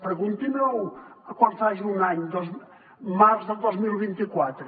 pregunti m’ho quan faci un any al març del dos mil vint quatre